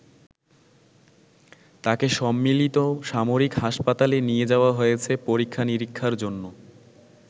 তাকে সম্মিলিত সামরিক হাসপাতালে নিয়ে যাওয়া হয়েছে পরীক্ষা-নিরীক্ষার জন্য।